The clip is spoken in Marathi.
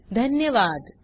सहभागासाठी धन्यवाद